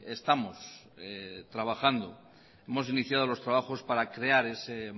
estamos trabajando hemos iniciado los trabajos para crear ese